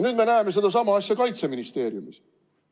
Nüüd me näeme sama asja Kaitseministeeriumis.